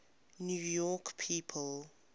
new york people